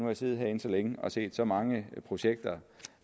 jeg siddet herinde så længe og set så mange projekter